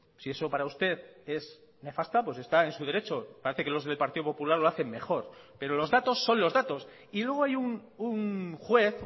si eso para usted es nefasta está en su derecho parece que los del partido popular lo hacen mejor pero los datos son los datos y luego hay un juez